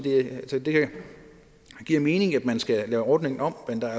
at det giver mening at man skal lave ordningen om men der